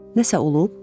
Nəsə olub?